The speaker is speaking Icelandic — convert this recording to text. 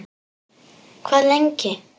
Hvað lengi